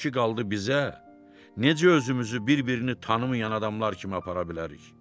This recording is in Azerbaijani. O ki qaldı bizə, necə özümüzü bir-birini tanımayan adamlar kimi apara bilərik?